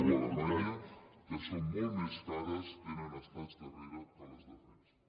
o alemanya que són molt més cares tenen estats darrere que les defensen